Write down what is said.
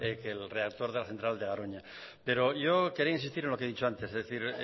que el reactor de la central de garoña pero yo quería insistir en lo que he dicho antes es decir